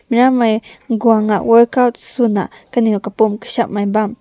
maram nai gau na workout suna kanew kapam kashem bam.